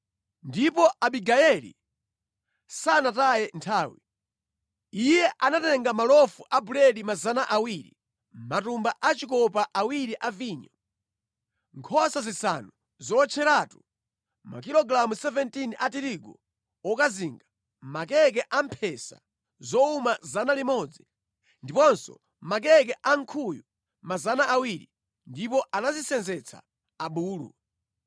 Ndipo Abigayeli sanataye nthawi. Iye anatenga malofu a buledi 200, matumba a chikopa awiri a vinyo, nkhosa zisanu zowotcheratu, makilogalamu 17 a tirigu wokazinga, makeke a mphesa zowuma 100, ndiponso makeke a nkhuyu 200, ndipo anazisenzetsa abulu.